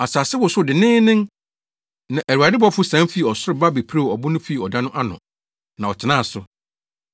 Asase wosow denneennen, na Awurade bɔfo sian fii ɔsoro ba bepirew ɔbo no fii ɔda no ano, na ɔtenaa so.